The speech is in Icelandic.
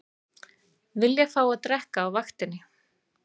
Vilja fá að drekka á vaktinni